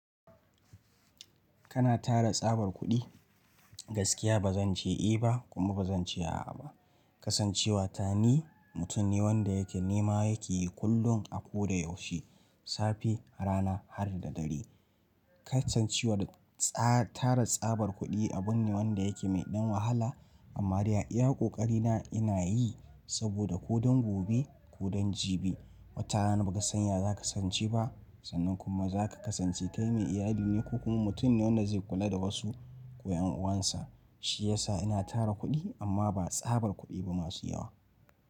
Kana tara tsabar kuɗi? Gaskiya ba zan ce eh ba kuma ba zan ce a'a ba. Kasancewa ta ni mutum ne wanda yake nema yake yi kullum a ko da yaushe, safe, rana har da dare. Kasancewar tara tsabar kuɗi abun ne wanda yake mai ɗan wahala amma dai a iya ƙoƙari na ina yi saboda ko don gobe ko don jibi. Watana na ba ka sanya za ka kasance ba sannan kuma za ka kasance kai mai iyali ne ko kuma mutum ne wanda zai kula da wasu ko yan uwansa. Shi yasa ina tara kuɗi amma ba tsabar kuɗi ba masu yawa.